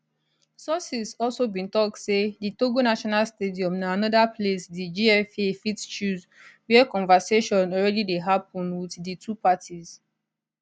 sources also bin tok say di togo national stadium na anoda place di gfa fit choose wia conversation already dey happun wit di two parties